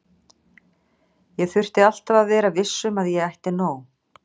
Ég þurfti alltaf að vera viss um að ég ætti nóg.